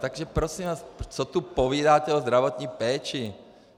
Takže prosím vás, co tu povídáte o zdravotní péči?